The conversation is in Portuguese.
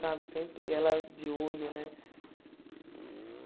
Sabe sempre ela de olho, né?